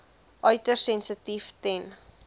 uiters sensitief ten